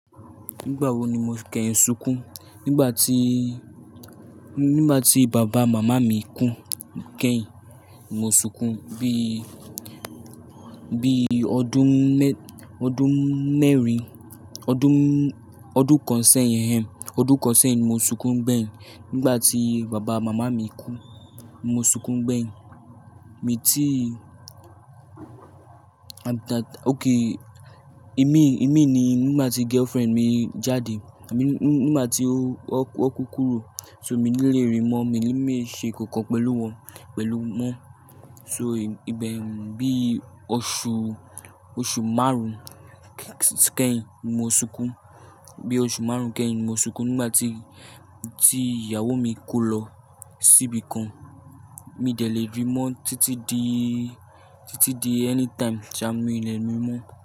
Nígbà wo ni mo kẹ́yìn sunkún? Nígbà tí, nígbà tí bàbá màmá mi kú kẹ́yìn, mo sunkún bí, bí ọdún mẹ́-- ọdún mẹ́rin, ọdún, ọdún kan sẹ́yìn, ọdún kan sẹ́yìn mo sunkún gbẹ́yìn. Nígbà tí bàbá màmá mi kú, mo sunkún gbẹ́yìn. Èmi tí, okay, èmi, èmi ni nígbà tí girlfriend mi jáde, àmí nígbà tí ó, ó, ó kú kúrò, so mi ní lè rí mọ́, mi ní lè ṣe nǹkan pẹ̀lú wọn, pẹ̀lú wọn. So ìbẹ̀rù bí oṣù, oṣù márùn-ún kẹ́yìn mo sunkún. Bí oṣù márùn-ún kẹ́yìn mo sunkún nígbà tí, tí ìyàwó mi kó lọ síbi kan. Mi dẹ̀ lè rí mọ́ títí di, títí di anytime tí a mi dẹ̀ ri mọ́.